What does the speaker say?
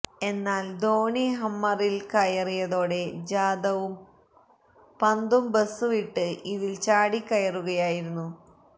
എന്നാല് ധോണി ഹമ്മറില് കയറിയതോടെ ജാദവും പന്തും ബസ് വിട്ട് ഇതില് ചാടിക്കയറുകയായിരുന്നു